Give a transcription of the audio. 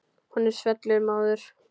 Honum svellur móður.